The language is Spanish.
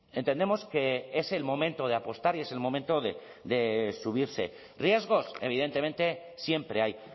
entendemos que es el momento de apostar y es el momento de subirse riesgos evidentemente siempre hay